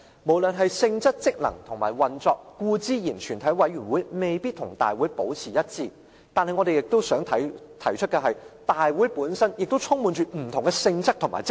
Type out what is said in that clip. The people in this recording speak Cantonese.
無論是性質、職能和運作，全體委員會固然未必與大會保持一致，但我亦想提出的是，大會本身亦充滿不同性質和職能。